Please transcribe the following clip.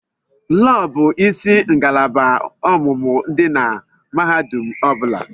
Lọọ bụ isi ngalaba ọmụmụ dị na mahadum ọ bụla.